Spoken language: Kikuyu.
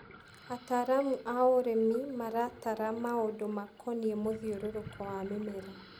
Ataramu a ũrĩmi maratara maundũ makonie mũthiũrũrũko wa mĩmera.